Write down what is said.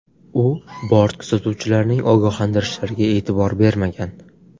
U bort kuzatuvchilarning ogohlantirishlariga e’tibor bermagan.